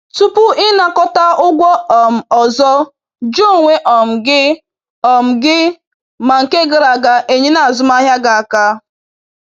Tupu ịnakọta ụgwọ um ọzọ, jụọ onwe um gị um gị ma nke gara aga enyela azụmahịa gị aka.